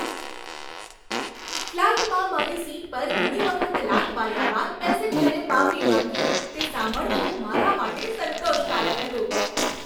ફ્લાઈટમાં મારી સીટ પર ઘણી વખત લાત માર્યા બાદ પેસેન્જરે માફી માંગી, તે સાંભળવું મારા માટે સંતોષકારક હતું.